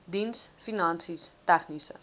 diens finansies tegniese